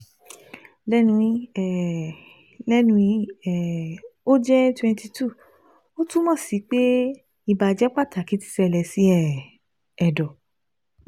Lẹ́nu yi um Lẹ́nu yi um o jẹ twenty two, o tumọ si pe ibajẹ pataki ti ṣẹlẹ si um ẹdọ